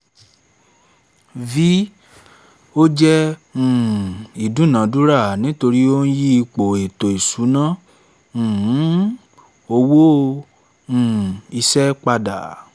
v) ò jẹ́ um ìdúnadúrà nítorí ó ń yí ipò ètò ìṣúná um owó um iṣẹ́ pada